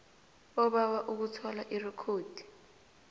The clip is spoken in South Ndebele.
obawa ukuthola irekhodi